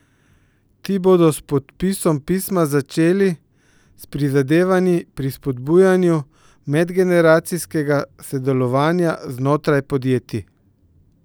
Ti bodo s podpisom pisma začeli s prizadevanji pri spodbujanju medgeneracijskega sodelovanja znotraj podjetij.